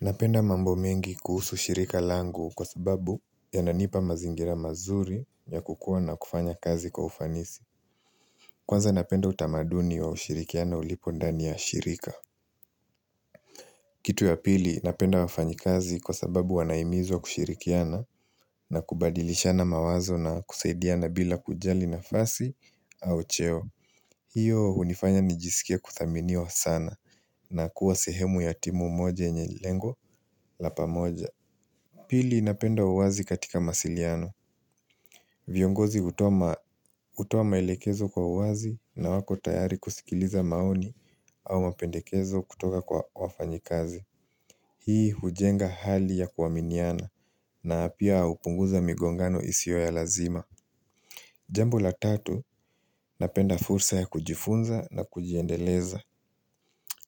Napenda mambo mengi kuhusu shirika langu kwa sababu yananipa mazingira mazuri ya kukua na kufanya kazi kwa ufanisi. Kwanza napenda utamaduni wa ushirikiano ulipo ndani ya shirika. Kitu ya pili napenda wafanyikazi kwa sababu wanahimizwa kushirikiana na kubadilishana mawazo na kusaidiana bila kujali nafasi au cheo. Hiyo hunifanya nijisikie kuthaminiwa sana na kuwa sehemu ya timu moja yenye lengo la pamoja. Pili napenda uwazi katika masiliano. Vyongozi hutoa maelekezo kwa uwazi na wako tayari kusikiliza maoni au mapendekezo kutoka kwa wafanyikazi. Hii hujenga hali ya kuaminiana na pia hupunguza migongano isio ya lazima. Jambo la tatu, napenda fursa ya kujifunza na kujiendeleza.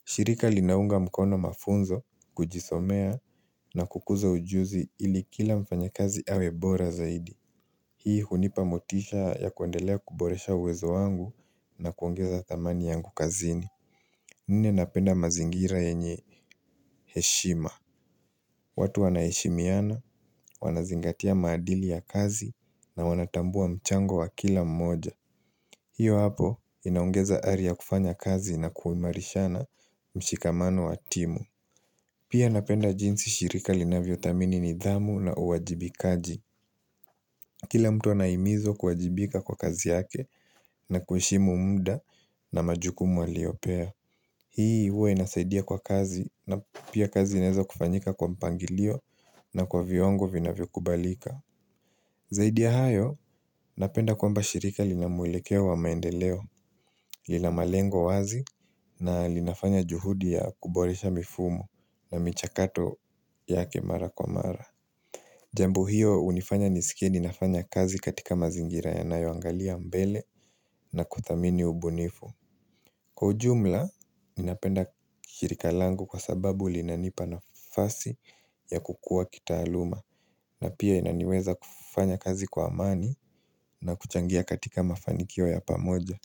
Shirika linaunga mkono mafunzo, kujisomea na kukuza ujuzi ili kila mfanyakazi awe bora zaidi. Hii hunipa motisha ya kuendelea kuboresha uwezo wangu na kuongeza thamani yangu kazini. Nne napenda mazingira yenye heshima. Watu wanaheshimiana, wanazingatia maadili ya kazi na wanatambua mchango wa kila mmoja. Hiyo hapo inaongeza ari ya kufanya kazi na kuimarishana mshikamano wa timu. Pia napenda jinsi shirika linavyo thamini nidhamu na uwajibikaji. Kila mtu anahimizwa kuwajibika kwa kazi yake na kuheshimu muda na majukumu aliyopewa. Hii huwa inasaidia kwa kazi na pia kazi inaeza kufanyika kwa mpangilio na kwa viwango vinavyo kubalika. Zaidi ya hayo, napenda kwamba shirika linamwelekeo wa maendeleo, lila malengo wazi na linafanya juhudi ya kuboresha mifumo na michakato yake mara kwa mara. Jambo hiyo hunifanya nisikie ninafanya kazi katika mazingira yanayo angalia mbele na kuthamini ubunifu. Kwa ujumla ninapenda shirika langu kwa sababu linanipa nafasi ya kukua kitaaluma na pia inaniweza kufanya kazi kwa amani na kuchangia katika mafanikio ya pamoja.